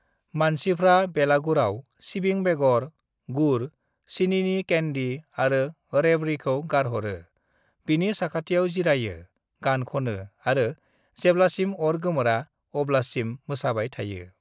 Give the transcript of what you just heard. "मानसिफ्रा बेलागुराव सिबिं बेगर, गुर, सिनिनि कैंडी आरो रेवड़ीखौ गारहरो, बिनि साखाथियाव जिरायो, गान ख'नो आरो जेब्लासिम अर गोमोरा अब्लासिम मोसाबाय थायो।"